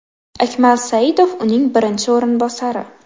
Akmal Saidov uning birinchi o‘rinbosari.